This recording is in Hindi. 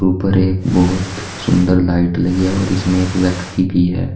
ऊपर एक बहुत सुंदर लाइट लगी है और इसमें एक व्यक्ति भी है।